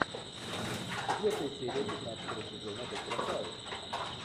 четвертая серия пятнадцатого сезона доктора хауса